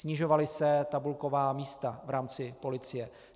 Snižovala se tabulková místa v rámci policie.